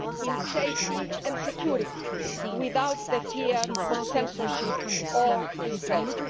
in safety and security, without the fear of censorship or restraint'.